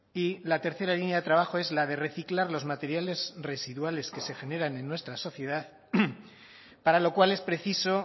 y la tercera línea de trabajo es la de reciclar los materiales residuales que se generan en nuestra sociedad para lo cual es preciso